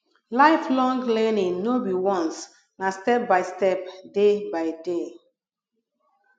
lifelong learning no be once na step by step day by day